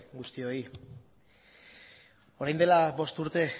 guztioi orain dela bost urte